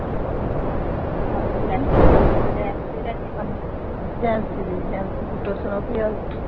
ਹੋਰ ਸੁਣਾਓ ਕੀ ਹਾਲ ਚਾਲ